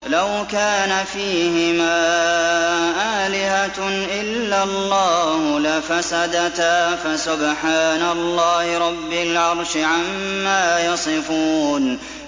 لَوْ كَانَ فِيهِمَا آلِهَةٌ إِلَّا اللَّهُ لَفَسَدَتَا ۚ فَسُبْحَانَ اللَّهِ رَبِّ الْعَرْشِ عَمَّا يَصِفُونَ